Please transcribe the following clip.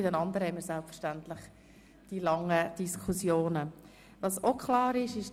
Bei den anderen werden wir entsprechende Diskussionen führen.